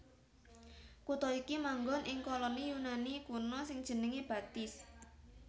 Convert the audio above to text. Kutha iki manggon ing koloni Yunani kuno sing jenengé Batis